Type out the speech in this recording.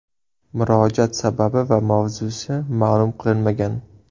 Murojaat sababi va mavzusi ma’lum qilinmagan.